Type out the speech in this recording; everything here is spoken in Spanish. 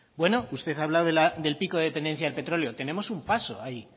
bueno usted ha hablado del pico de dependencia del petróleo tenemos un paso ahí